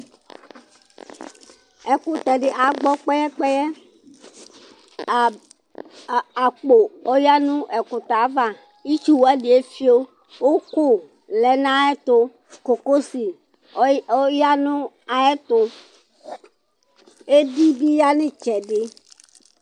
ɛkũtẽdi agbõ kpɛyɛ kpɛyɛ a akpo õya nũ ẽkụtɛ ava ïtchu wanï éfio ʊkũ lɛ nayɛtu kọko sĩ ooya nu ayɛtụ édi bị ya nayitchẽdi